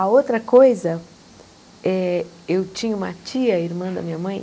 A outra coisa, eh eu tinha uma tia, irmã da minha mãe,